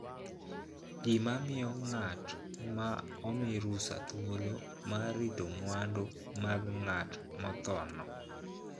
Gima miyo ng'at ma omi rusa thuolo mar rito mwandu mag ng'at mothono.